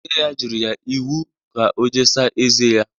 Nne ya nyere ya iwu ka o jee saa eze ya!